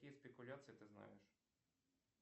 какие спекуляции ты знаешь